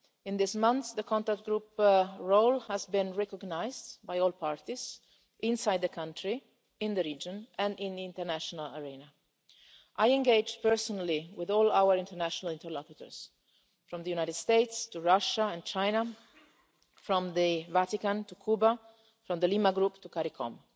In these months, the contact group's role has been recognised by all parties inside the country, in the region, and in the international arena. I engaged personally with all our international interlocutors, from the United States to Russia and China, from the Vatican to Cuba, from the Lima Group, to Caricom.